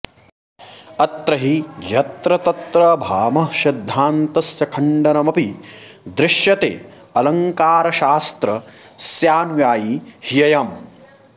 अत्र हि यत्र तत्र भामहसिद्धान्तस्य खण्डनमपि दृश्यते अलङ्कारशास्त्रस्यानुयायी ह्ययम्